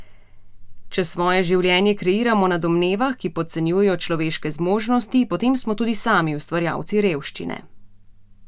Če svoje življenje kreiramo na domnevah, ki podcenjujejo človeške zmožnosti, potem smo tudi sami ustvarjalci revščine.